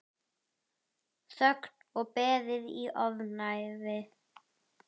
Þögn og beðið í ofvæni.